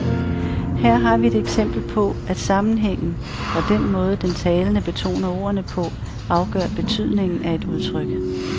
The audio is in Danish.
Her har vi et eksempel på, at sammenhængen, og den måde den talende betoner ordene på, afgør betydningen af et udtryk.